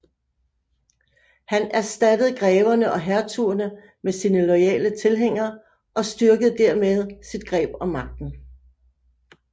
Han erstattede greverne og hertugerne med sine loyale tilhængere og styrkede dermed sit greb om magten